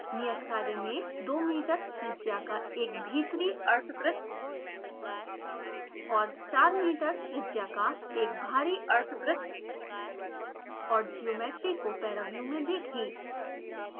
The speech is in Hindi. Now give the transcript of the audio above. नियत कार्य में 2 मीटर त्रिज्या का एक भीतरी अर्द्ध वृत्त और 4 मीटर त्रिज्या का एक बाहरी अर्द्ध वृत्त और ज्योमेट्री को paraview में देखें